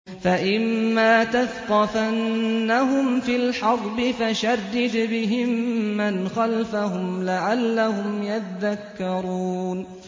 فَإِمَّا تَثْقَفَنَّهُمْ فِي الْحَرْبِ فَشَرِّدْ بِهِم مَّنْ خَلْفَهُمْ لَعَلَّهُمْ يَذَّكَّرُونَ